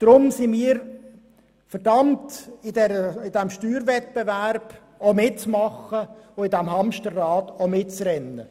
Deshalb sind wir verdammt, bei diesem Steuerwettbewerb mitzumachen und in diesem Hamsterrad mitzurennen.